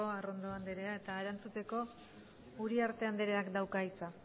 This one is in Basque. arrondo andrea eta erantzuteko uriarte andreak dauka hitza